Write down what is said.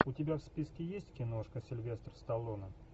у тебя в списке есть киношка сильвестр сталлоне